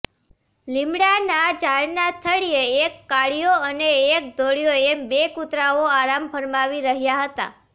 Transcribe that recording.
લીમડાના ઝાડના થડીયે એક કાળીયો અને એક ધોળિયો એમ બે કુતરાઓ આરામ ફરમાવી રહ્યા હતા